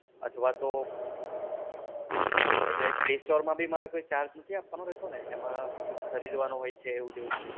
અથવા તો હા એટલે play store માં ભી મારે કોઈ charge નથી આપવાનો રહેશે ને? એમાં કોઈ ખરીદવાનું હોય છે એવું તેવું?